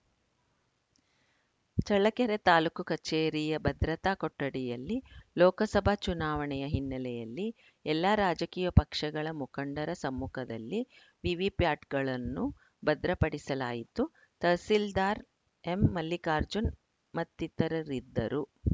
ಚಳ್ಳಕೆರೆ ತಾಲೂಕು ಕಚೇರಿಯ ಭದ್ರತಾ ಕೊಠಡಿಯಲ್ಲಿ ಲೋಕಸಭಾ ಚುನಾವಣೆಯ ಹಿನ್ನೆಲೆಯಲ್ಲಿ ಎಲ್ಲ ರಾಜಕೀಯ ಪಕ್ಷಗಳ ಮುಖಂಡರ ಸಮ್ಮುಖದಲ್ಲಿ ವಿವಿಪ್ಯಾಟ್‌ಗಳನ್ನು ಭದ್ರಪಡಿಸಲಾಯಿತು ತಹಸೀಲ್ದಾರ್‌ ಎಂಮಲ್ಲಿಕಾರ್ಜುನ್‌ ಮತ್ತಿತರರಿದ್ದರು